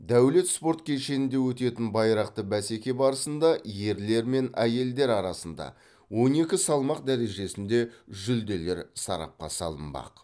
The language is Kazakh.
дәулет спорт кешенінде өтетін байрақты бәсеке барысында ерлер мен әйелдер арасында он екі салмақ дәрежесінде жүлделер сарапқа салынбақ